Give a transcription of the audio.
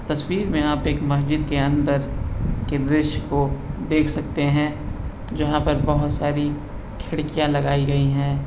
तस्वीर मे आप एक मस्जिद के अंदर के दृश्य को देख सकते हैं जहाँ पर बहुत सारी खिड़किया लगाई गई हैं।